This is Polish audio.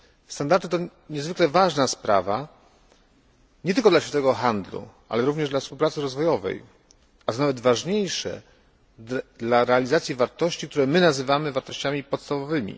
Standardy te to niezwykle ważna sprawa nie tylko dla światowego handlu, ale również dla współpracy rozwojowej, a co nawet ważniejsze, dla realizacji wartości, które my nazywamy wartościami podstawowymi.